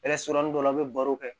dɔ la an bɛ baro kɛ